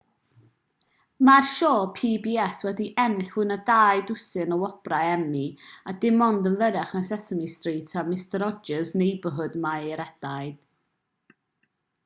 mae'r sioe pbs wedi ennill fwy na dau ddwsin o wobrau emmy a dim ond yn fyrrach na sesame street a mister rogers' neighborhood mae ei rhediad